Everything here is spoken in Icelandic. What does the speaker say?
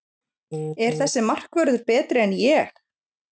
Er þessi markvörður betri en Ég?